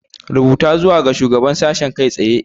Rubuta zuwa ga Shugaban Sashen kai tsaye!